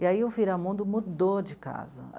E aí o Viramundo mudou de casa.